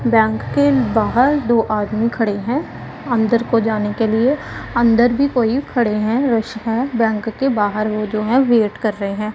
Bank के बाहर दो आदमी खड़े हैं अंदर को जाने के लिए अंदर भी कोई खड़े हैं रस है बैंक के बाहर वो जो हैं वेट कर रहे हैं।